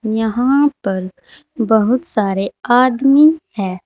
यहां पर बहुत सारे आदमी है।